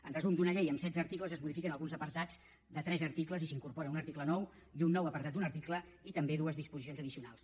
en resum d’una llei amb setze articles es modifiquen alguns apartats de tres articles i s’incorpora un article nou i un nou apartat d’un article i també dues disposicions addicionals